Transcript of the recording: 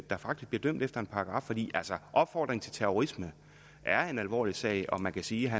der faktisk bliver dømt efter en paragraf altså at opfordre til terrorisme er en alvorlig sag og man kan sige at